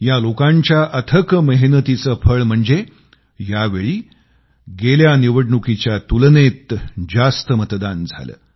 या लोकांच्या अथक मेहनतीचे फळ म्हणजे यावेळी गेल्या निवडणुकीच्या तुलनेत जास्त मतदान झाले